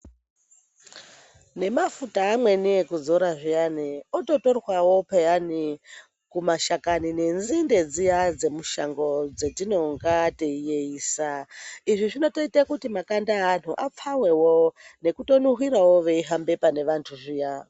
Nemafuta amweni ekuzora zviyani ototorwawo peyani kumashakani nedzinde dziya dzemushango dzatinonga teiyeyisa izvi zvinotoita kuti makanda evanhu apfawewo nekutonuhwirirawo veihambe pane vantu zviya.